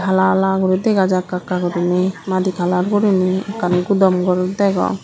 hala hala gori dega jar ekka ekka guriney madi kalar guriney ekkan gudom gor degong.